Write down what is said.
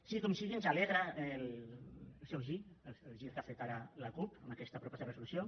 sigui com sigui ens alegra el seu gir el gir que ha fet ara la cup amb aquesta proposta de resolució